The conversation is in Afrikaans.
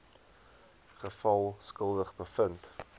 geval skuldig bevind